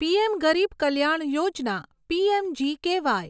PM Garib Kalyan Yojana PMGKY